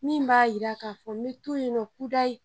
Min b'a jira k'a fɔ n bɛ to yen nɔ kudayi